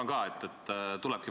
Austatud peaminister!